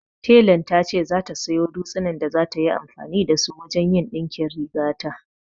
Telan ta ce za ta sayo dutsinan da za ta yi amfani da su wajen yin ɗinkin rigata